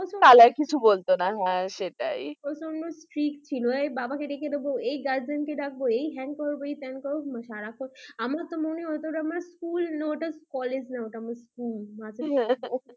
তাহলে কিছু বলত না হ্যাঁ সেটাই প্রচন্ড strict ছিল এই বাবাকে ডেকে দেবো এই হ্যান করবো তেন করবো আমার তো সারাক্ষণ মনে হতো ওটা স্কুল না কলেজ। হ্যাঁ হ্যাঁ